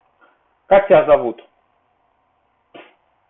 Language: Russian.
как тебя зовут